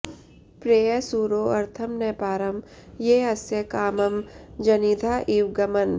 प्रेरय सूरो अर्थं न पारं ये अस्य कामं जनिधा इव ग्मन्